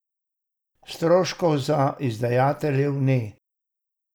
Stroškov za izdajatelje ni.